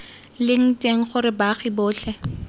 leng teng gore baagi botlhe